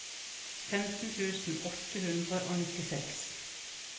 femten tusen åtte hundre og nittiseks